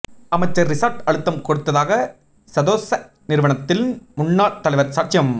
அமைச்சர் றிசாட் அழுத்தம் கொடுத்ததாக சதொச நிறுவனத்தின் முன்னாள் தலைவர் சாட்சியம்